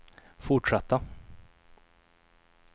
fortsätta